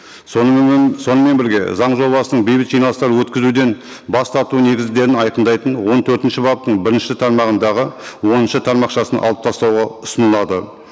сонымен бірге заң жобасының бейбіт жиналыстар өткізуден бас тарту негіздерін айқындайтын он төртінші баптың бірінші тармағындағы оныншы тармақшасын алып тастауға ұсынылады